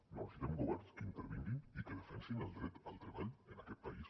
no necessitem governs que intervinguin i que defensin el dret al treball en aquest país